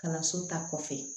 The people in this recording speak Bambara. Kalanso ta kɔfɛ